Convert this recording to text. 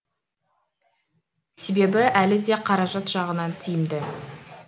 себебі әлі де қаражат жағынан тиімді